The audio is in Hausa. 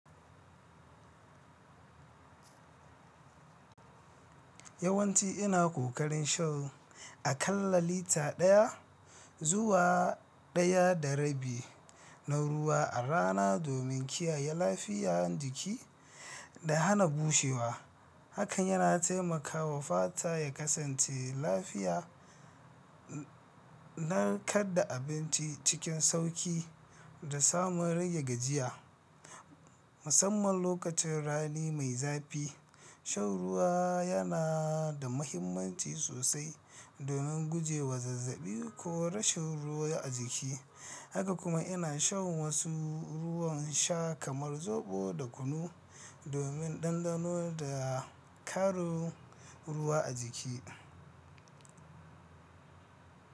Yawanci ina ƙoƙarin shan a ƙalla lita ɗaya zuwa ɗaya da rabi na ruwa a rana domin kiyaye lafiyar jiki da hana bushewa. Hakan yana taimakawa fata ya kasance lafiya, narkar da abinci cikin sauƙi, da samun rage gajiya. Musamman lokacin rani mai zafi, shan ruwa yana da mahimmanci sosai domin guje wa zazzabi ko rashin ruwa a jiki. Haka kuma ina shan wasu ruwan sha kamar zoɓo da kunu domin ɗanɗano da ƙarin ruwa a jiki.